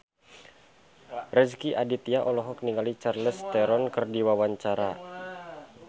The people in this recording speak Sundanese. Rezky Aditya olohok ningali Charlize Theron keur diwawancara